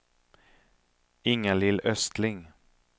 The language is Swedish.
Inga-Lill Östling